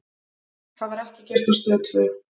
Það var ekki gert á Stöð tvö.